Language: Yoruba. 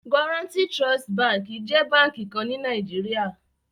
Guaranty Trust Bank is a bank in NIgeria